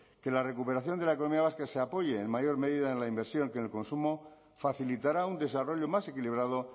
que la recuperación de la economía vasca se apoye en mayor medida en la inversión que en el consumo facilitará un desarrollo más equilibrado